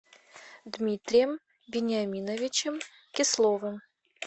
дмитрием вениаминовичем кисловым